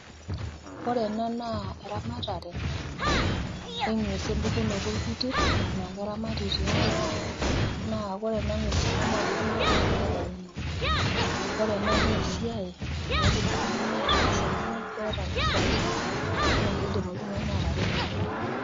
Ore ena naa eramatare eng'wes empukunoto orbitir naa keramati tiang' naa ore ena ng'wes tene naa kitanakita nkera enyenak. Ore ena naa esiai naidim oltung'ani ataasa naa kidim oltung'ani ataretie kewon.